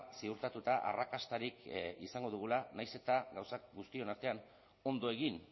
ziurtatuta arrakastarik izango dugula nahiz eta gauzak guztion artean ondo egin